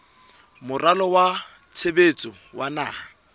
moralo wa tshebetso wa naha